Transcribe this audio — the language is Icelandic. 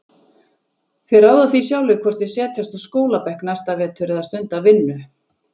Þeir ráða því sjálfir hvort þeir setjast á skólabekk næsta vetur eða stunda vinnu.